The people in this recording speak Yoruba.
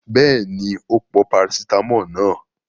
Bẹ́ẹ̀ni, ó pọ parasítámọ̀ náà.